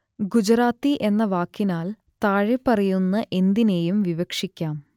ഗുജറാത്തി എന്ന വാക്കിനാൽ താഴെപ്പറയുന്ന എന്തിനേയും വിവക്ഷിക്കാം